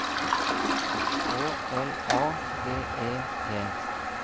K L A G E T